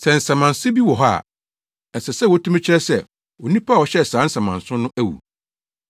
Sɛ nsamansew bi wɔ hɔ a, ɛsɛ sɛ wotumi kyerɛ sɛ onipa a ɔhyɛɛ saa nsamansew no awu.